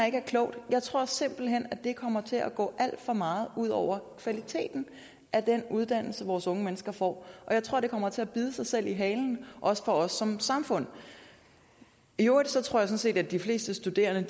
ikke er klogt jeg tror simpelt hen det kommer til at gå alt for meget ud over kvaliteten af den uddannelse vores unge mennesker får og jeg tror det kommer til at bide sig selv i halen også for os som samfund i øvrigt tror jeg sådan set at de fleste studerende